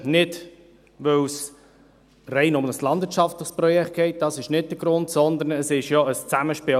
Nicht, weil es um ein rein landwirtschaftliches Projekt geht – dies ist nicht der Grund –, sondern um ein Zusammenspiel.